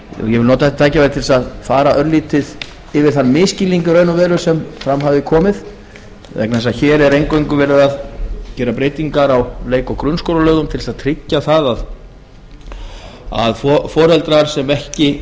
ég vil nota þetta tækifæri til þess að fara örlítið yfir þann misskilning í raun og veru sem fram hafði komið vegna þess að hér er eingöngu verið að gera breytingar á leik og grunnskólalögum til þess að tryggja að foreldrar sem ekki